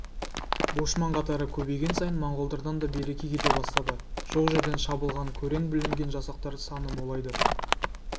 бошман қатары көбейген сайын монғолдардан да береке кете бастады жоқ жерден шабылған көрен бүлінген жасақтар саны молайды